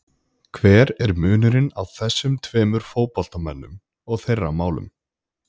Hver er munurinn á þessum tveimur fótboltamönnum og þeirra málum?